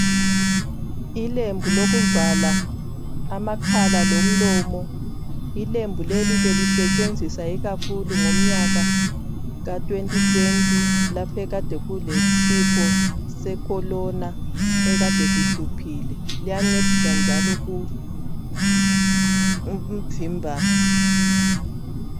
Izayeke zivala umlomo lamakhala. Bezisetshenziswa kakhulu ngomnyaka ka 2020 ngesikhathi sekhovidi eyayisihluphile.